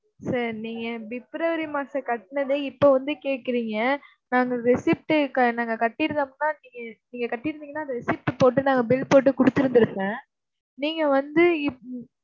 sir நீங்கப் February மாசம் கட்டுனதை இப்ப வந்து கேட்கறீங்க. நாங்க receipt க~ நாங்க கட்டிருந்தோம்னா நீங்க நீங்கக் கட்டிருந்தீங்கன்னா அந்த receipt போட்டு நாங்க bill போட்டுக் கொடுத்திருந்திருப்பேன். நீங்க வந்து இப்~